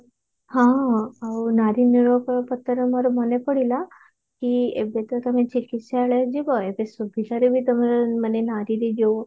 ହଁ ଆଉ ନାରୀ ଲିଙ୍ଗାନୁପାତରେ ମୋର ମନେ ପଡିଲା କି ଏବେ ତ ତମେ ଚିକିତ୍ସାଳୟ ଯିବ ଏବେ ସୁବିଧାରେ ବି ତମେ ନାରୀରେ ଯଉ